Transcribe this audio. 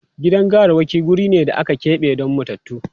Gidan gawarwaki wuri ne da aka keɓe don matattu.